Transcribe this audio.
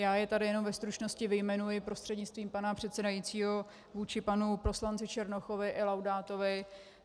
Já je tady jenom ve stručnosti vyjmenuji prostřednictvím pana předsedajícího vůči panu poslanci Černochovi i Laudátovi.